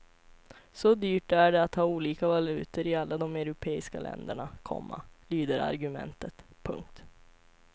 Så dyrt är det att ha olika valutor i alla de europeiska länderna, komma lyder argumentet. punkt